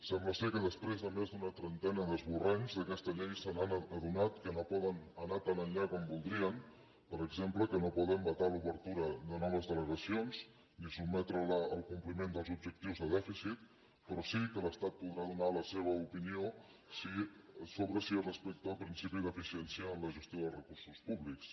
sembla que després de més d’una trentena d’esborranys d’aquesta llei s’han adonat que no poden anar tan enllà com voldrien per exemple que no poden vetar l’obertura de noves delegacions ni sotmetre la al compliment dels objectius de dèficit però sí que l’estat podrà donar la seva opinió sobre si es respecta el principi d’eficiència en la gestió de recursos públics